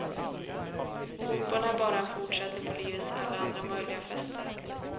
Fotbollen är bara en fortsättning på livets alla andra möjliga fester.